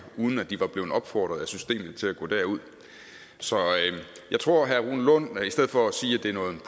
uden at de var blevet opfordret af systemet til at gå derud så jeg tror herre rune lund i stedet for at sige